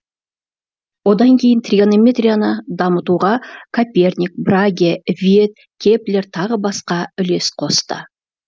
одан кейін тригонометрияны дамытуға н коперник т браге ф виет и кеплер тағы басқа үлес қосты